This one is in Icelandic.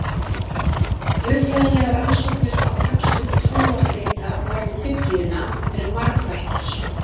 guðfræðilegar rannsóknir á textum trúarrita á borð við biblíuna eru margþættar